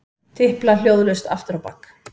Tipla hljóðlaust afturábak.